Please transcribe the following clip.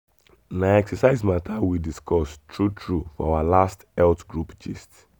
na exercise matter we discuss true true for our last health group gist.